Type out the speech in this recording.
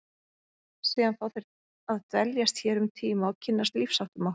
Síðan fá þeir að dveljast hér um tíma og kynnast lífsháttum okkar.